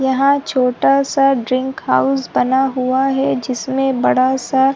यहाँ छोटा सा ड्रिंक हाउस बना हुआ है जिसमें बड़ा सा --